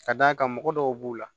Ka d'a kan mɔgɔ dɔw b'u la